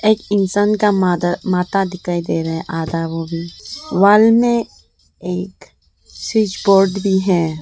एक इंसान का माध माथा दिखाई दे रहा है आधा वो भी वॉल मे एक स्विच बोर्ड भी है।